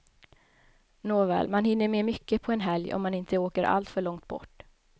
Nåväl man hinner med mycket på en helg om man inte åker allt för långt bort.